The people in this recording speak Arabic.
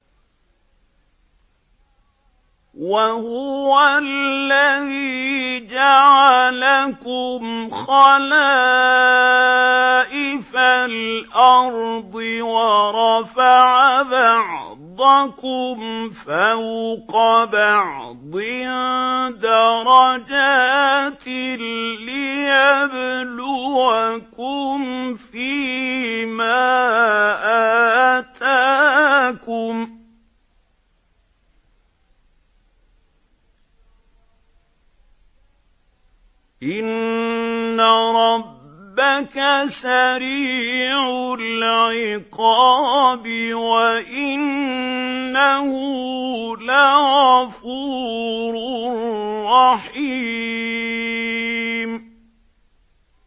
وَهُوَ الَّذِي جَعَلَكُمْ خَلَائِفَ الْأَرْضِ وَرَفَعَ بَعْضَكُمْ فَوْقَ بَعْضٍ دَرَجَاتٍ لِّيَبْلُوَكُمْ فِي مَا آتَاكُمْ ۗ إِنَّ رَبَّكَ سَرِيعُ الْعِقَابِ وَإِنَّهُ لَغَفُورٌ رَّحِيمٌ